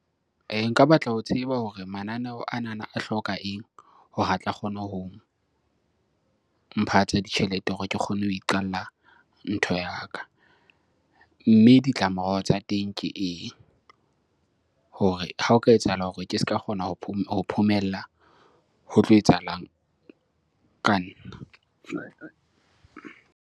Nka batla ho tseba hore mananeo anana a hloka eng hore a tla kgone ho mpha tsa ditjhelete hore ke kgone ho iqalla ntho ya ka. Mme ditlamorao tsa teng ke eng? Hore ha o ka etsahala hore ke ska kgona ho ho phomella ho tlo etsahalang ka nna.